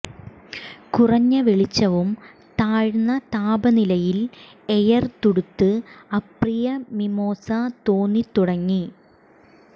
കുറഞ്ഞ വെളിച്ചവും താഴ്ന്ന താപനിലയിൽ എയർ തുടുത്ത് അപ്രിയ മിമൊസ തോന്നിത്തുടങ്ങി